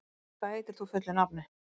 Sigurgeir, hvað heitir þú fullu nafni?